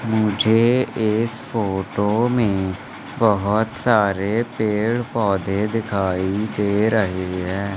मुझे इस फोटो में बहोत सारे पेड़ पौधे दिखाई दे रहे है।